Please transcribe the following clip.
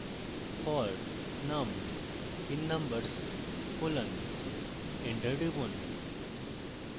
for num in numbers colon enter টিপুন